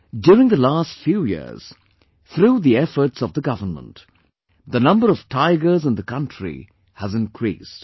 During the the last few years, through the efforts of the government, the number of tigers in the country has increased